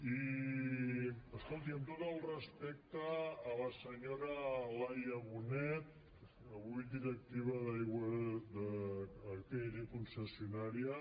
i escolti amb tot el respecte a la senyora laia bonet avui directiva d’atll concessionària